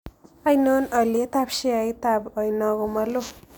Ainon alyetap sheaitap oiino ko maloo